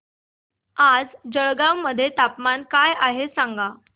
आज जळगाव मध्ये तापमान काय आहे सांगा